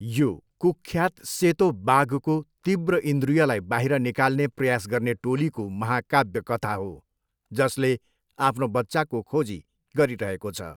यो कुख्यात सेतो बाघको तीव्र इन्द्रियलाई बाहिर निकाल्ने प्रयास गर्ने टोलीको महाकाव्य कथा हो जसले आफ्नो बच्चाको खोजी गरिरहेको छ।